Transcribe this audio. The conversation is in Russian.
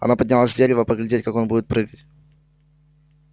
она поднялась с дерева поглядеть как он будет прыгать